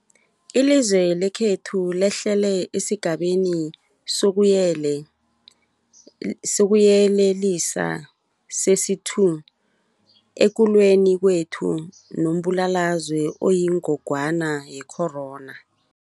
Ilizwe lekhethu lehlele esiGabeni sokuYelelisa sesi-2 ekulweni kwethu nombulalazwe oyingogwana ye-corona.